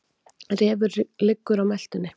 Refur liggur á meltunni.